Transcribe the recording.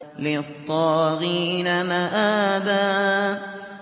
لِّلطَّاغِينَ مَآبًا